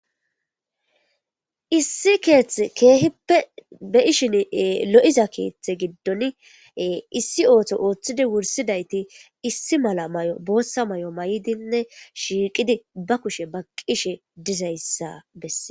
issi keeth keehippe be7ishin lo7iza keeththe giddon issi ooto ooththidi wursidayti issi mala may7o boossa may7o may7dinne shiiqidi ba kushe baqqishe dizayssa bessee